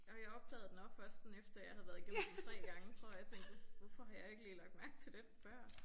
Og jeg opdagede den også først sådan efter jeg havde været igennem den 3 gange tror jeg tænkte hvorfor har jeg ikke lige lagt mærke til den før